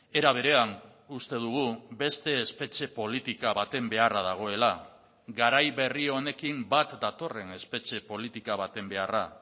era berean uste dugu beste espetxe politika baten beharra dagoela garai berri honekin bat datorren espetxe politika baten beharra